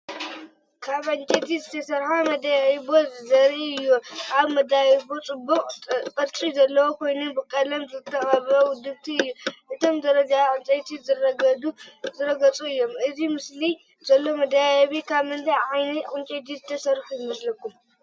ካብ ዕንጨይቲ ዝተሰርሐ መደያይቦ ዘርኢ እዩ። እቲ መደያይቦ ኣብ ጽቡቕ ቅርጺ ዘለዎ ኮይኑ ብቐለም ዝተቐብአ ውድእቲ እዩ። እቶም ደረጃታት ዕንጨይቲ ዝረገጹ እዮም። ኣብ ስእሊ ዘሎ መደያይቦ ካብ ምንታይ ዓይነት ዕንጨይቲ ዝተሰርሐ ይመስለኩም?